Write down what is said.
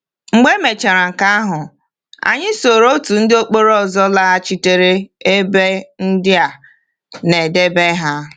Mgbe emechaara nke ahụ, anyị soro otu ndị mkpọrọ ọzọ laghachitere ebe ndị a na-edebe ha.